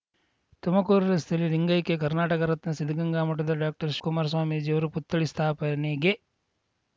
ತುಮಕೂರು ರಸ್ತೆಯಲ್ಲಿ ಲಿಂಗೈಕ್ಯ ಕರ್ನಾಟಕ ರತ್ನ ಸಿದ್ಧಗಂಗಾಮಠದ ಡಾಕ್ಟರ್ಶಿವಕುಮಾರ ಸ್ವಾಮೀಜಿ ಅವರ ಪುತ್ಥಳಿ ಸ್ಥಾಪನೆಗೆ